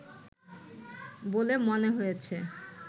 বলে মনে হয়েছে